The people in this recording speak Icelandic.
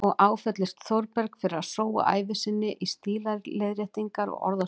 Og áfellist Þórberg fyrir að sóa ævi sinni í stílaleiðréttingar og orðasöfnun.